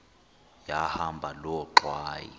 yahamba loo ngxwayi